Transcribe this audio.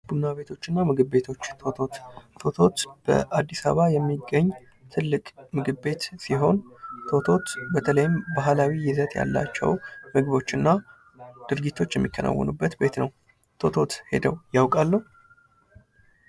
ቡና ቤቶች እና ምግብ ቤቶች ቶቶት፤ ቶቶት በአዲስ አበባ የሚገኝ በተለይም ባህላዊ ይዘት ያላቸው ምግቦች እና ድርጊቶች የሚከናወንበት ቤት ነው። ቶቶት ሄደው ያውቃሉ?